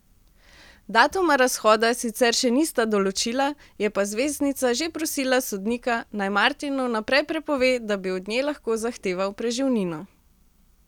Datuma razhoda sicer še nista določila, je pa zvezdnica že prosila sodnika, naj Martinu vnaprej prepove, da bi od nje lahko zahteval preživnino.